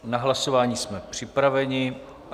Na hlasování jsme připraveni.